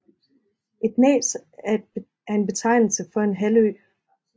Et næs er en betegnelse for en halvø